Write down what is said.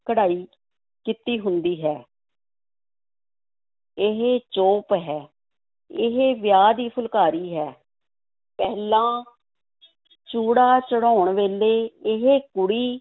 ਕਢਾਈ ਕੀਤੀ ਹੁੰਦੀ ਹੈ ਇਹ ਚੋਪ ਹੈ, ਇਹ ਵਿਆਹ ਦੀ ਫੁਲਕਾਰੀ ਹੈ, ਪਹਿਲਾਂ ਚੂੜਾ ਚੜ੍ਹਾਉਣ ਵੇਲੇ ਇਹ ਕੁੜੀ